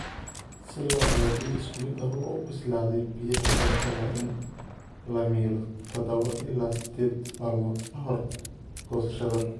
"Si loo helo bariis isku mid ah oo u bislaaday, biyaha beerta waa in la miiro tadawa ila sideed maalmood ka hor goosashada."